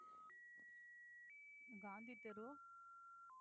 காந்தி தெரு